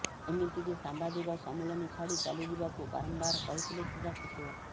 ଏମିତିକି ସାମ୍ବାଦିକ ସମ୍ମିଳନୀ ଛାଡି ଚାଲିଯିବାକୁ ବାରମ୍ବାର କହିଥିଲେ କ୍ରୀଡ଼ା ସଚିବ